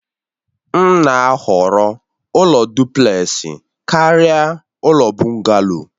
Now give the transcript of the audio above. M na-ahọrọ ụlọ dụplesi karịa ụlọ Bugaloo